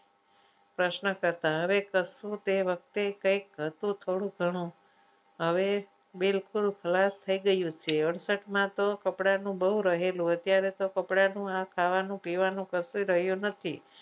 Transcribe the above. પ્રશ્ન કરતા હવે કશું તે વખતે કંઈક હતું થોડું ઘણું હવે બિલકુલ ખલાસ થઈ ગયું છે અડસઠ માં તો કપડાનું બહુ રહેલું અત્યારે તો કપડાનું આ ખાવાનું પીવાનું કશું રહ્યું નથી.